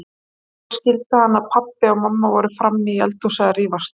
En svo skildi hann að pabbi og mamma voru frammi í eldhúsi að rífast.